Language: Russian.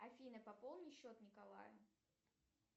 афина пополни счет николая